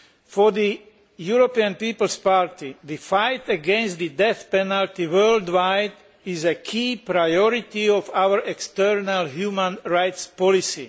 For the European People's Party, the fight against the death penalty worldwide is a key priority of our external human rights policy.